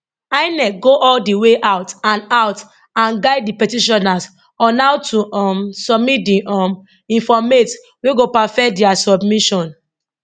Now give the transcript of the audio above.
inec go all di way out and out and guide di petitioners on how to um submit di um informate wey go perfect dia submission